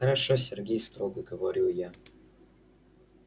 хорошо сергей строго говорю я